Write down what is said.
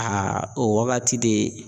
o waagati de